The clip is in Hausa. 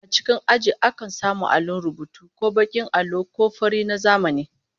A cikin aji akan samu allon rubutu, ko bakin allo ko na fari na zamani